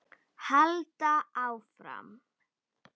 Halda áfram.